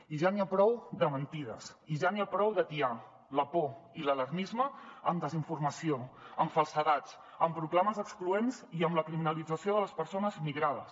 i ja n’hi ha prou de mentides i ja n’hi ha prou d’atiar la por i l’alarmisme amb desinformació amb falsedats amb proclames excloents i amb la criminalització de les persones migrades